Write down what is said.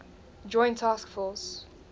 joint task force